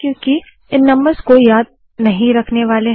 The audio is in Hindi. लोग इन नम्बर्स को याद नहीं रखने वाले